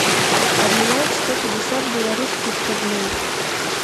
обменять сто пятьдесят белорусских рублей